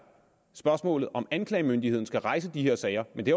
spørgsmålet om om anklagemyndigheden skal rejse de her sager men det